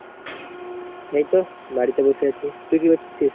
এইতো বাড়িতে বসে আছি, তুই কি করছিস?